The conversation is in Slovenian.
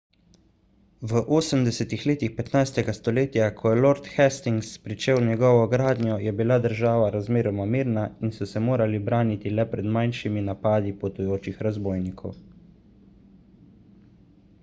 v 80 letih 15 stoletja ko je lord hastings pričel njegovo gradnjo je bila država razmeroma mirna in so se morali braniti le pred manjšimi napadi potujočih razbojnikov